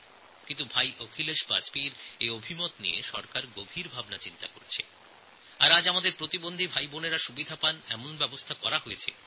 কিন্তু ভাই অখিলেশ বাজপেয়ীর এই মতামত সরকার অত্যন্ত গুরুত্বের সঙ্গে বিবেচনা করেছে এবং আজ আমাদের প্রতিবন্ধী ভাইবোনদের জন্য এই ব্যবস্থা চালু করা হয়ে গেছে